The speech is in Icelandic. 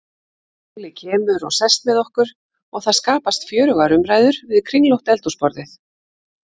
Óli kemur og sest með okkur og það skapast fjörugar umræður við kringlótt eldhúsborðið.